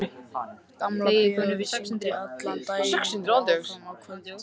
Gamla bíóið sýndi allan daginn og fram á kvöld.